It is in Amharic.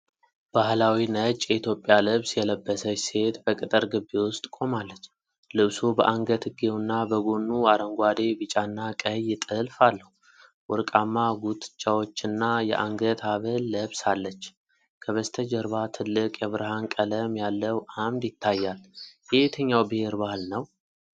ባህላዊ ነጭ የኢትዮጵያ ልብስ የለበሰች ሴት በቅጥር ግቢ ውስጥ ቆማለች። ልብሱ በአንገትጌውና በጎኑ አረንጓዴ፣ ቢጫና ቀይ ጥልፍ አለው። ወርቃማ ጉትቻዎችና የአንገት ሐብል ለብሳለች። ከበስተጀርባ ትልቅ የብርሃን ቀለም ያለው ዓምድ ይታያል። የየትኛው ብሔር ባህል ነው?